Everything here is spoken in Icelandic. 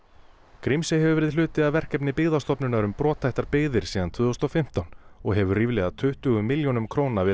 Grímsey hefur verið hluti af verkefni Byggðastofnunar um brothættar byggðir síðan tvö þúsund og fimmtán og hefur ríflega tuttugu milljónum króna verið